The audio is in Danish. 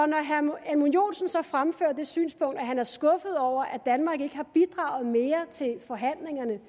når herre edmund joensen så fremfører det synspunkt at han er skuffet over at danmark ikke har bidraget mere til forhandlingerne